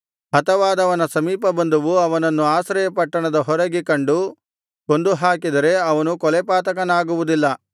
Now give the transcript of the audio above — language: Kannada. ಹತವಾದವನ ಸಮೀಪಬಂಧುವು ಅವನನ್ನು ಆಶ್ರಯಪಟ್ಟಣದ ಹೊರಗೆ ಕಂಡು ಕೊಂದುಹಾಕಿದರೆ ಅವನು ಕೊಲೆಪಾತಕನಾಗುವುದಿಲ್ಲ